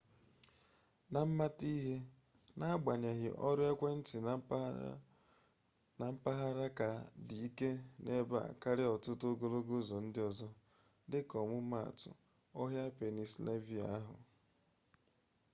na mmata ihe n'agbanyeghị ọrụ ekwentị mkpaagagharị ka dị ike ebe a karịa ọtụtụ ogologo ụzọ ndị ọzọ ahụ dịka ọmụmaatụ ọhịa pennsylvania ahụ